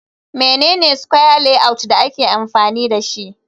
Mene ne square layout da ake amfani dashi